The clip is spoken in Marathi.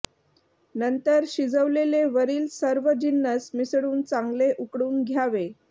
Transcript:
नंतर शिजवलेले वरील सर्व जिन्नस मिसळून चांगले उकळून घ्यावे